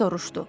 Kap soruşdu.